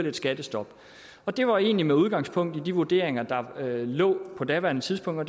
et skattestop det var egentlig med udgangspunkt i den vurdering der lå på daværende tidspunkt og